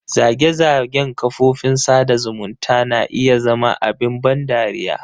Zage-zagen kafofin sada zumunta na iya zama abin ban dariya.